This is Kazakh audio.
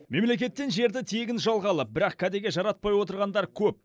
мемлекеттен жерді тегін жалға алып бірақ кәдеге жаратпай отырғандар көп